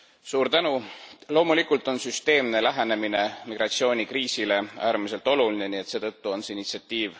Loomulikult on süsteemne lähenemine migratsioonikriisile äärmiselt oluline, nii et seetõttu on see initsiatiiv ka tervitatav.